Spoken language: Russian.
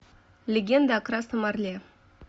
легенда о красном орле